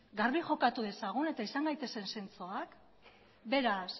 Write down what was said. garbi jokatu dezagun eta izan gaitezen zintzoak beraz